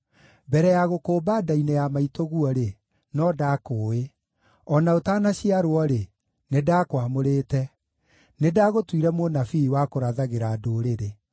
“Mbere ya gũkũũmba nda-inĩ ya maitũguo-rĩ, no ndaakũũĩ, o na ũtanaciarwo-rĩ, nĩndakwamũrĩte; nĩndagũtuire mũnabii wa kũrathagĩra ndũrĩrĩ.”